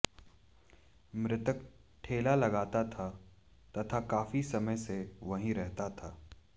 मृतक ठेला लगाता था तथा काफी समय से वहीं रहता था